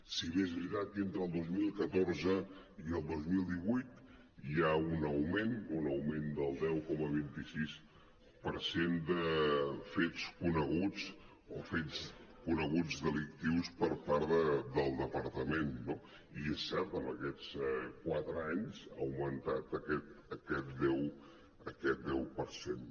si bé és veritat que entre el dos mil catorze i el dos mil divuit hi ha un aug·ment un augment del deu coma vint sis per cent de fets coneguts o fets coneguts delictius per part del departament no i és cert en aquests quatre anys ha augmentat aquest deu per cent